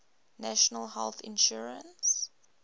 national health insurance